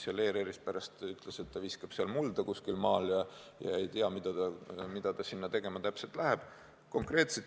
Ta pärast ütles, et viskab seal kuskil maal mulda ja ei tea, mida ta sinna täpselt tegema läheb.